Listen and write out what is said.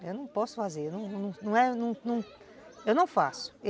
Eu não posso fazer, eu não faço.